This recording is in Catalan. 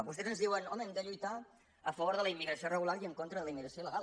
vostès ens diuen home hem de lluitar a favor de la immigració regular i en contra de la immigració il·legal